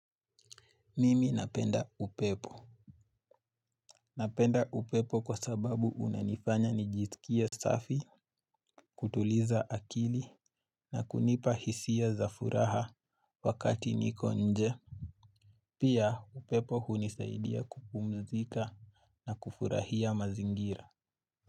Mimi napenda upepo. Napenda upepo kwa sababu unanifanya nijiskie safi, kutuliza akili, na kunipa hisia za furaha wakati niko nje. Pia upepo hunisaidia kupumzika na kufurahia mazingira.